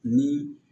Ni